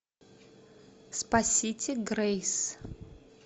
спасите грейс